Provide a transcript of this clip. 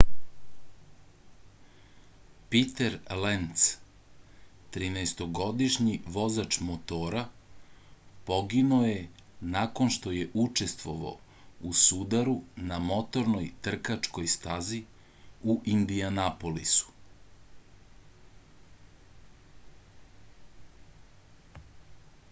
piter lenc 13-to godišnji vozač motora poginuo je nakon što je učestvovao u sudaru na motornoj trkačkoj stazi u indijanapolisu